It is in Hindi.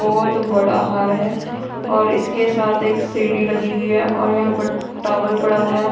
बहुत बड़ा हार है और इसके साथ एक सीढ़ी लगी हुई है और यहां पर टॉवेल पड़ा हुआ है।